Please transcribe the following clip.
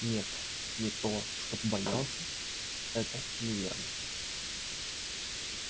нет не то чтоб боялся это неверно